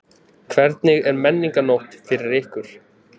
Hvernig er Menningarnótt fyrir ykkur?